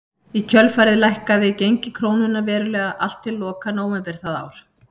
Í kjölfarið lækkaði gengi krónunnar verulega allt til loka nóvember það ár.